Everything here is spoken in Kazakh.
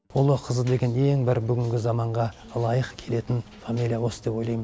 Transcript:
ұлы қызы деген ең бір бүгінгі заманға лайық келетін фамилия осы деп ойлаймын